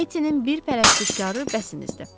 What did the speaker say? Etinin bir pərəstişkarı bəsimizdir.